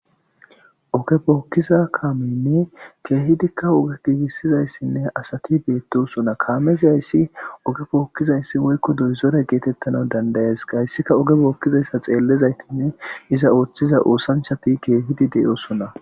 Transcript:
oge pookkiza kaameynne keehidikka oge giigissizayssinne asati beettosona kaamezayssi oge bookkizayssi woykko doyzore geetettana dandayes qayssika oge bookkizayssa xeellezaytinne iza ooththiza oosanchati keehidi deyoosona